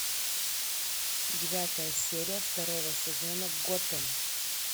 девятая серия второго сезона готэм